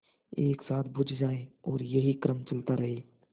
एक साथ बुझ जाएँ और यही क्रम चलता रहे